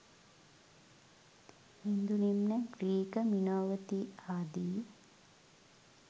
ඉන්දුනිම්න Greek මිනෝවති ආදී